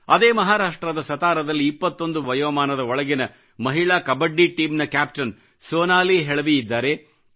ಅದೇ ಮಹಾರಾಷ್ಟ್ರದ ಸತಾರಾದಲ್ಲಿ 21 ರ ವಯೋಮಾನದ ಒಳಗಿನ ಮಹಿಳಾ ಕಬಡ್ಡಿ ಟೀಮಿನಲ್ಲಿ ಕ್ಯಾಪ್ಟನ್ ಸೋನಾಲಿ ಹೆಳವಿ ಇದ್ದಾರೆ